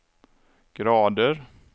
grader